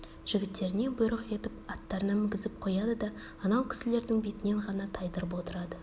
жігіттеріне бұйрық етіп аттарына мінгізіп қояды да анау кісілердің бетінен ғана тайдырып отырады